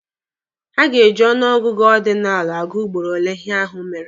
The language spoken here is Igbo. Ha ga-eji ọnụ ọgụgụ ọdinalụ agụ ugboro ole ihe ahụ mere.